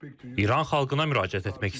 İran xalqına müraciət etmək istəyirəm.